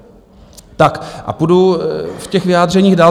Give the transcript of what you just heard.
Tak a půjdu v těch vyjádřeních dál.